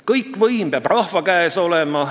Kõik võim peab rahva käes olema.